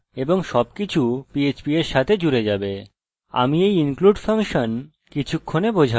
এটি php code এবং আমাদের php ট্যাগ্সের দরকার এবং সবকিছু php এর সাথে জুড়ে যাবে